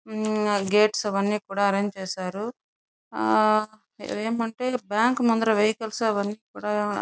Gates అవి అని కూడ ఆరెంజ్ చేసారు. ఆ ఇక్కడ ఎం అంటే బ్యాంకు ముందర వెహికల్స్ అని అని కూడ --